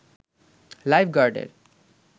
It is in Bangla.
লাইফ গার্ডের